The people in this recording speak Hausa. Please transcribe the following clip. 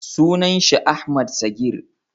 sunan shi Ahmad Sagir